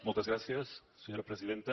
moltes gràcies senyora presidenta